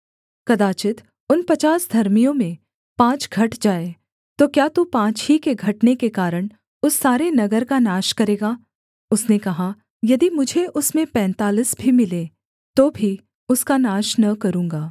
कदाचित् उन पचास धर्मियों में पाँच घट जाएँ तो क्या तू पाँच ही के घटने के कारण उस सारे नगर का नाश करेगा उसने कहा यदि मुझे उसमें पैंतालीस भी मिलें तो भी उसका नाश न करूँगा